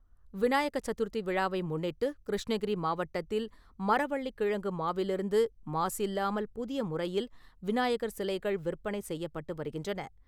விநாயக சதுர்த்தி விழாவை முன்னிட்டு, கிருஷ்ணகிரி மாவட்டத்தில், மரவள்ளி கிழங்கு மாவிலிருந்து மாசு இல்லாமல் புதிய முறையில் விநாயகர் சிலைகள் விற்பனை செய்யப்பட்டு வருகின்றன .